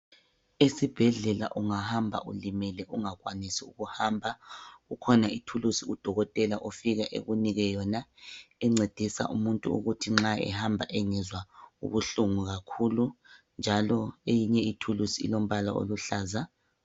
Esibhedlela ungahamba ulimele ungakwanisi ukuhamba kukhona ithulusi udokotela ofika ekunike yona, encedisa umuntu ukuthi nxa ehamba engezwa ubuhlungu kakhulu njalo eyinye ithulusi ilombala oluhlaza.